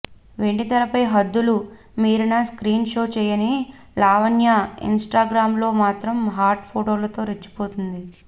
వెండితెరపై హద్దులు మీరిన skin show చేయని లావణ్య ఇంస్టాగ్రామ్ లో మాత్రం హాట్ ఫొటోలతో రెచ్చిపోతుంది